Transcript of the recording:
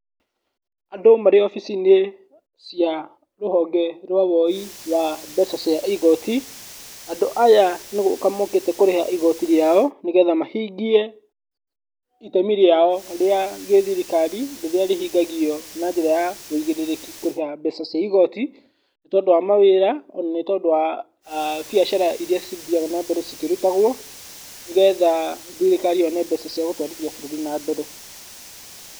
Andũ marĩ obici-inĩ cia rũhonge rwa woi wa mbeca cia igoti, andũ aya nĩgũka mokĩte kũrĩha igoti rĩao, nĩgetha mahingie itemi rĩao rĩa gĩthirikari rĩrĩa rĩhingagio na njĩra ya ũigĩrĩrĩki rĩa kũrĩha mbeca cia igoti, nĩ tondũ wa mawĩra na nĩ tondũ wa aah mbiacara irĩa cithiaga na mbere ikĩrutagwo, nĩgetha thirikari yone mbeca cia gũtwarithia bũrũri na mbere.